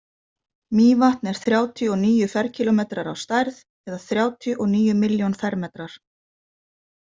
Mývatn er þrjátíu og níu ferkílómetrar á stærð eða þrjátíu og níu milljón fermetrar.